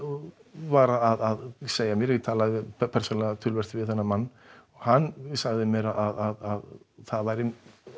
var að segja mér talaði persónulega við hann hann sagði mér að það væri